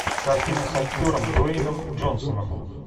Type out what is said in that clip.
картина с актером дуэйном джонсоном